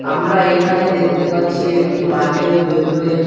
আমরা এই খানে দেখতে পাচ্ছি একটি মাঠের ভেতরে--